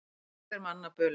Margt er manna bölið.